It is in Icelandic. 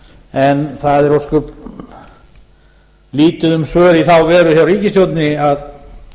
en það er ósköp lítið um svör í þá veru hjá ríkisstjórninni að